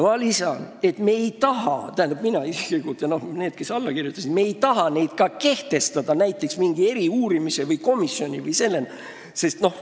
Ma lisan, et me ei taha – mina isiklikult ja need, kes siia alla kirjutasid – ka kehtestada sellist kontrolli näiteks mingi eriuurimise või komisjoni vormis.